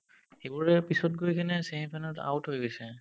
এইবোৰে পিছত গৈ কিনে semi final ত out হৈ গৈছে